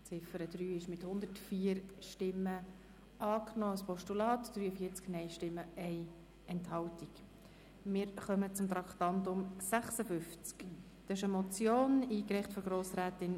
Die Ziffer 3 ist mit 104 Ja- gegen 43 Nein-Stimmen bei 1 Enthaltung als Postulat angenommen worden.